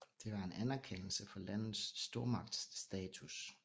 Det var en anerkendelse for landets stormagtsstatus